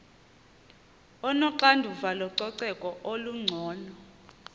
onoxanduva lococeko olungcono